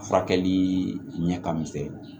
Furakɛli ɲɛ ka misɛn